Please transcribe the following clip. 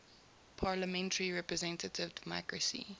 parliamentary representative democracy